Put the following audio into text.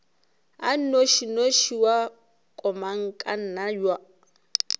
a nnošinoši wa komangkanna ya